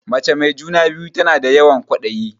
Mace mai juna-biyu tana da yawan ƙwaɗayi.